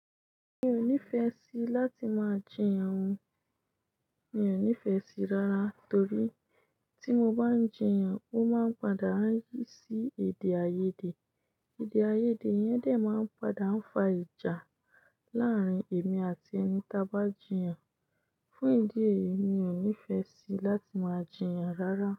Mi ò nífẹẹ sí láti máa jiyàn ohun, mi ò nífẹẹ sí rárá torí tí mo bá ń jiyàn ó máa ń padà yí sí èdèàìyedè. Èdèàìyedè yẹn dè máa ń padà ń fa ìjà láàárín èmi àti ẹni ta bá jiyàn. Fún ìdí èyí, mi ò nífẹẹ sí láti máa jiyàn rárá.